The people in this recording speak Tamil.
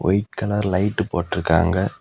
ஒயிட் கலர் லைட் போட்டு இருக்காங்க.